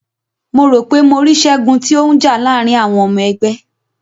Mo ro pe mo ri Ṣẹgun ti o n já láàrin àwọn ọmọ ẹgbẹ́.